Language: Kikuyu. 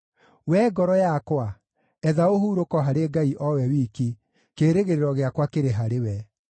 Wee ngoro yakwa, etha ũhurũko harĩ Ngai o we wiki, kĩĩrĩgĩrĩro gĩakwa kĩrĩ harĩ we.